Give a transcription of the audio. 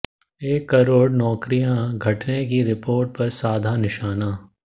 एक करोड़ नौकरियां घटने की रिपोर्ट पर साधा निशाना